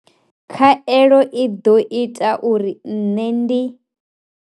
Khaelo i ḓo ita uri nṋe ndi.